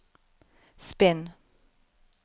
spinn